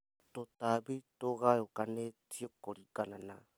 Tũtambi tũgayũkanĩtio kũringana na